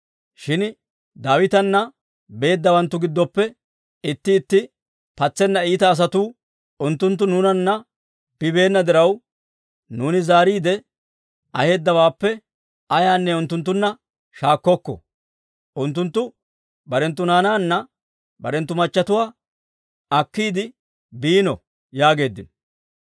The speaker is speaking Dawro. Shin Daawitana beeddawanttu giddoppe itti itti patseena iita asatuu, «Unttunttu nuunanna bibeena diraw, nuuni zaariide aheedawaappe ayaanne unttunttunna shaakkokko; unttunttu barenttu naanaanne barenttu machatuwaa akkiide biino» yaageeddino.